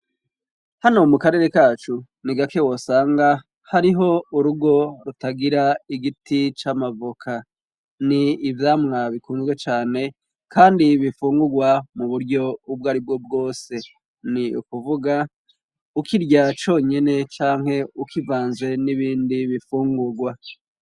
Hano mu karere kacu ni gake wosanga hariho urugo rutagira igiti c'amavoka. Ni ivyamwa bikunzwe cane kandi bifungurwa mu buryo ubwo ari bwo bwose. Ni ukuvuga ukirya conyene canke ukivanze n'ibindi bifungurwa.